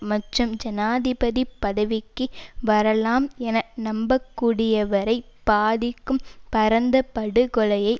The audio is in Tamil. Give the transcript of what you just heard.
மற்றும் ஜனாதிபதி பதவிக்கு வரலாம் என நம்பக்கூடியவரைப் பாதிக்கும் பரந்த படுகொலையை